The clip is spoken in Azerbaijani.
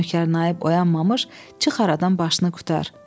Nökər naib oyanmamış çıx aradan başını qurtar.